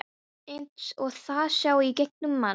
Eins og það sjái í gegnum mann.